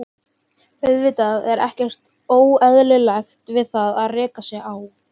Auðvitað er ekkert óeðlilegt við það að reka sig á.